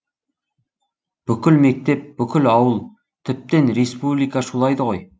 бүкіл мектеп бүкіл ауыл тіптен республика шулайды ғой